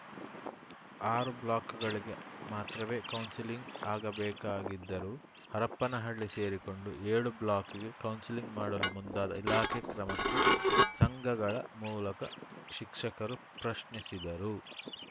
ಆರು ಬ್ಲಾಕ್‌ಗಳಿಗೆ ಮಾತ್ರವೇ ಕೌನ್ಸಿಲಿಂಗ್‌ ಆಗಬೇಕಾಗಿದ್ದರೂ ಹರಪನಹಳ್ಳಿ ಸೇರಿಕೊಂಡು ಏಳು ಬ್ಲಾಕ್‌ಗೆ ಕೌನ್ಸಿಲಿಂಗ್‌ ಮಾಡಲು ಮುಂದಾದ ಇಲಾಖೆ ಕ್ರಮಕ್ಕೆ ಸಂಘಗಳ ಮೂಲಕ ಶಿಕ್ಷಕರು ಪ್ರಶ್ನಿಸಿದರು